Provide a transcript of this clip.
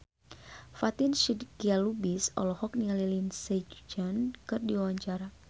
Fatin Shidqia Lubis olohok ningali Lindsay Ducan keur diwawancara